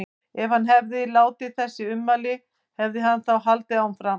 Ef hann hefði ekki látið þessi ummæli, hefði hann þá haldið áfram?